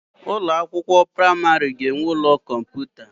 Ụlọ akwụkwọ praimari ga-enwe ụlọ kọmputa.